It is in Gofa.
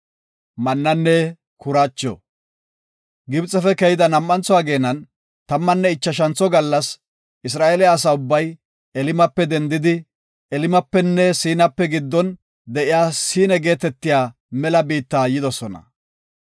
Gibxefe keyida nam7antho ageenan, tammanne ichashantho gallas Isra7eele asa ubbay Elimape dendidi, Elimapenne Siinape giddon de7iya Siine geetetiya mela biitta yidosona.